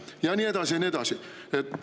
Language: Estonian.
Ja nii edasi ja nii edasi.